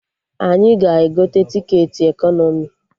Anyị ga-egote tiketi ekọnọmi